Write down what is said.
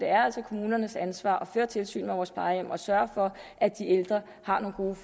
er kommunernes ansvar at føre tilsyn med vores plejehjem og sørge for at de ældre har nogle gode